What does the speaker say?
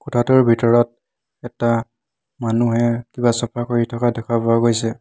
কোঠাটোৰ ভিতৰত এটা মানুহে কিবা চফা কৰি থকা দেখা পোৱা গৈছে।